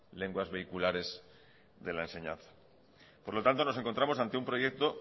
lenguas vehiculares de la enseñanza por lo tanto nos encontramos ante un proyecto